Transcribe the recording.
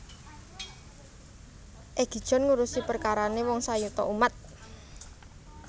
Egi John ngurusi perkarane wong sayuta umat